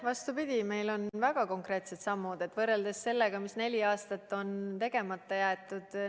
Vastupidi, meil on väga konkreetsed sammud võrreldes sellega, mis neli aastat on tegemata jäetud.